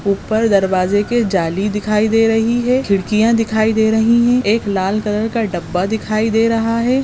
ऊपर दरवाजे के जाली दिखाई दे रही है खिड़कियां दिखाई दे रही है एक लाल कलर का डब्बा दिखाई दे रहा है।